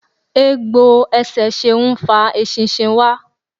Egbò ẹsẹ Ṣeun ń fa eṣinṣin wá.